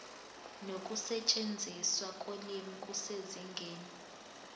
nokusetshenziswa kolimi kusezingeni